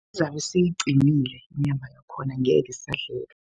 Seyiqinile inyama yakhona ngeke isadleka.